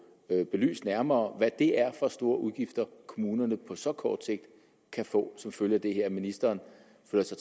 belyst nærmere hvad det er for store udgifter kommunerne på så kort sigt kan få som følge af det her at ministeren føler sig